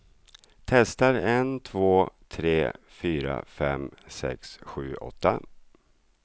Testar en två tre fyra fem sex sju åtta.